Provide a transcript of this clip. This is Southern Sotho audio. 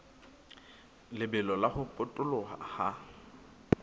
lebelo la ho potoloha ha